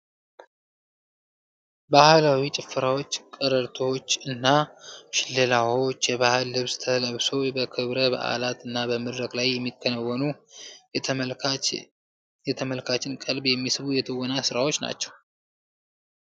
ባህላዊ ጭፈራዎች ፣ቀረርቶዎች እና ሽለላዎች የባህል ልብስ ተለብሶ በክብረ በዓላት እና በመድረክ ላይ የሚከወኑ የተመልካችን ቀልብ የሚስቡ የትወና ስራዎች ናቸው።